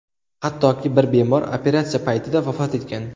Hattoki bir bemor operatsiya paytida vafot etgan.